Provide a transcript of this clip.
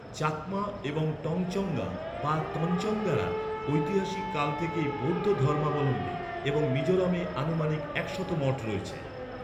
চাকমা এবং টংচঙ্গ্যা বা তঞ্চঙ্গ্যারা, ঐতিহাসিক কাল থেকেই বৌদ্ধ ধর্মাবলম্বী এবং মিজোরামে আনুমানিক একশত মঠ রয়েছে।